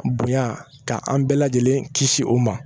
Bonya ka an bɛɛ lajɛlen kisi o ma